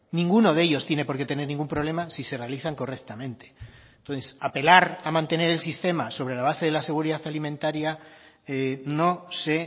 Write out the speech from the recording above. ninguno de ellos tiene por qué tener ningún problema si se realizan correctamente entonces apelar a mantener el sistema sobre la base de la seguridad alimentaria no sé